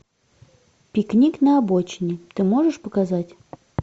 пикник на обочине ты можешь показать